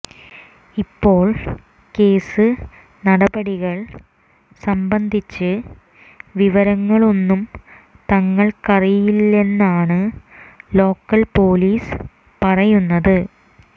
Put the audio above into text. ഇപ്പോഴും കേസ് നടപടികൾ സംബന്ധിച്ച് വിവരങ്ങളൊന്നും തങ്ങൾക്കറിയില്ലെന്നാണ് ലോക്കൽ പൊലീസ് പറയുന്നത്